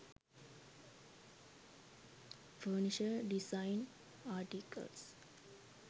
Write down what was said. furniture design articals